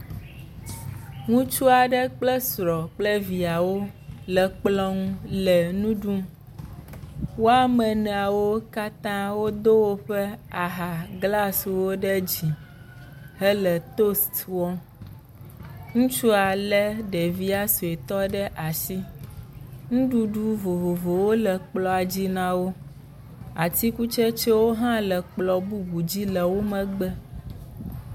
Ŋutsu aɖe kple srɔ̃ kple viawo le kplɔ̃ ŋu le nu ɖum. Wo ame enea katã wodo woƒe aha glasiwo ɖe dzi hele toast wɔm. Ŋutsu lé ɖevia suetɔ ɖe asi. Nuɖuɖu vovovowo le kplɔ̃a dzi na wo. Atikutsetsewo hã le kplɔ̃ bubu dzi le wo megbe.